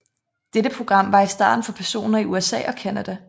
Dette program var i starten for personer i USA og Canada